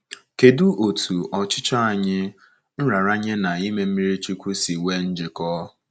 Kedụ otú ọchịchọ anyị, nraranye na ime mmiri chukwu si nwee njikọ?